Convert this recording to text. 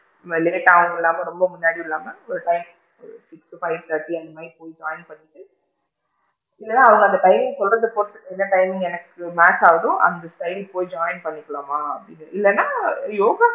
Late டாவும் இல்லாம ரொம்ப முன்னாடியும் இல்லாம ஒரு time போய் join பண்ணிட்டு இல்லன்னா அவுங்க அந்த timing சொல்றது பொருத்து என்ன time எனக்கு match ஆகுதோ அந்த time போய் join பண்ணிக்கலாமா! அப்படின்னு இல்லன்னா யோகா~